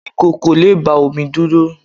ìkòkò le gba omi dúró